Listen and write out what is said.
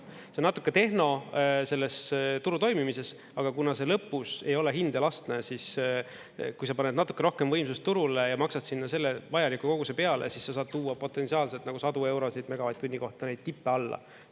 See on natuke tehno, selles turu toimimises, aga kuna see lõpus ei ole hind elastne, siis kui sa paned natuke rohkem võimsust turule ja maksad sinna selle vajaliku koguse peale, siis sa saad tuua potentsiaalselt sadu eurosid megavatt-tunni kohta, neid tippe alla.